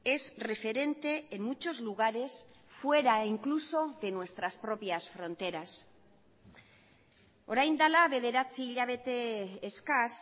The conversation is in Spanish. es referente en muchos lugares fuera incluso de nuestras propias fronteras orain dela bederatzi hilabete eskas